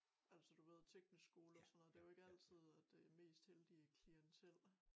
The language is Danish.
Altså du ved teknisk skole og sådan noget det jo ikke altid at det mest heldige klientel